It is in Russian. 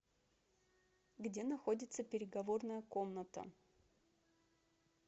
где находится переговорная комната